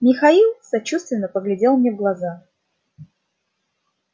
михаил сочувственно поглядел мне в глаза